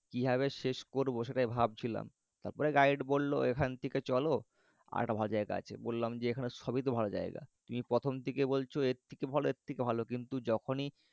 কিভাবে শেষ করব সেটাই ভাবছিলাম। তারপরে গাইড বলল এখান থেকে চল আরেকটা ভালো জায়গা আছে। বললাম যে এখানে সবই তো ভালো জায়গা। কি প্রথম থেকে বলছ এর থেকে ভালো এর থেকে ভালো কিন্তু যখনই